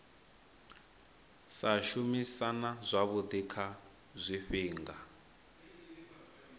sa shumisana zwavhui kha zwifhinga